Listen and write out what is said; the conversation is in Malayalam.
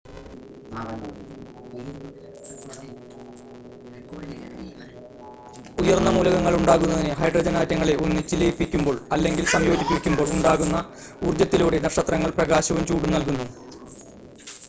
ഉയർന്ന മൂലകങ്ങൾ ഉണ്ടാകുന്നതിന് ഹൈഡ്രജൻ ആറ്റങ്ങളെ ഒന്നിച്ച് ലയിപ്പിക്കുമ്പോൾ അല്ലെങ്കിൽ സംയോജിപ്പിക്കുമ്പോൾ ഉണ്ടാകുന്ന ഊർജ്ജത്തിലൂടെ നക്ഷത്രങ്ങൾ പ്രകാശവും ചൂടും നൽകുന്നു